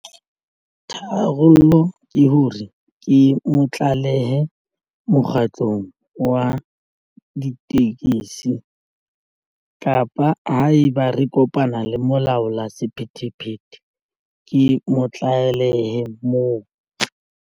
Tharollo ke hore ke mo tlalehe mokgatlong wa ditekesi kapa ha eba re kopana le molaola sephethephethe ke mo tlalehe moo.